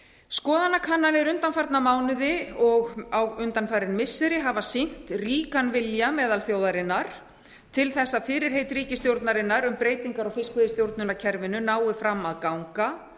skoðanakannanir undanfarna mánuði og undanfarin missiri hafa sýnt ríkan vilja meðal þjóðarinnar til þess að fyrirheit ríkisstjórnarinnar um breytingar á fiskveiðistjórnarkerfinu nái fram að ganga